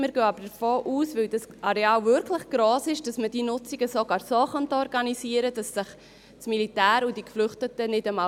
Weil dieses Areal wirklich gross ist, gehen wir aber davon aus, dass man diese Nutzungen sogar so organisieren kann, dass sich das Militär und die Geflüchteten nicht einmal sehen.